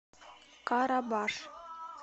карабаш